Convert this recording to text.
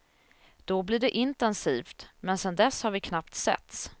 Då blir det intensivt, men sen dess har vi knappt setts.